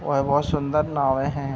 वह बहोत सुन्दर नावें हैं।